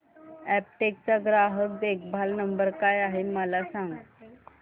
Aptech चा ग्राहक देखभाल नंबर काय आहे मला सांग